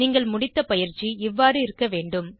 நீங்கள் முடித்த பயிற்சி இவ்வாறு இருக்க வேண்டும்